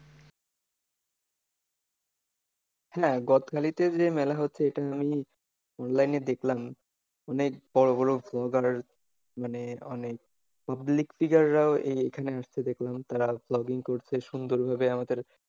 হ্যাঁ গদখালিতে যে মেলা হচ্ছে এটা আমি online এ দেখলাম। অনেক বড়ো বড়ো vlogger মানে অনেক public figure রাও এই এইখানে আসছে দেখলাম, তারা vlogging করছে সুন্দরভাবে আমাদের,